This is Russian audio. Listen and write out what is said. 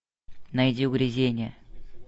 найди угрызения